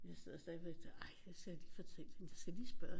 Jeg sidder stadigvæk og ej jeg skal lige fortælle hende jeg skal lige spørge